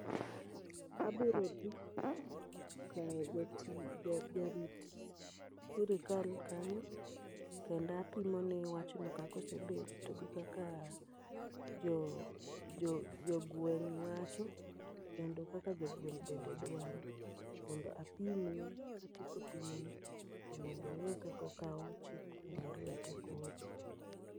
Abiro dhi ka jati jarit si sirikal kanyo, kenda pimone wachno kakosebet gi kaka jo jogweng' wacho kendo kaka jogweng' bende dwaro. Mondo apimne, katieko pimone to mondo ong'i kakokawo chik no e lwete koro.